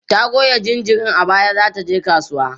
ta Goya jinjirin a baya da zata je kasuwa